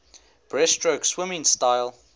breaststroke swimming style